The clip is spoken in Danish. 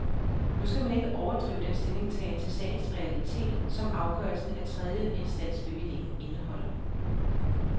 Nu skal man ikke overdrive den stillingtagen til sagens realitet, som afgørelsen af tredjeinstansbevillingen indeholder.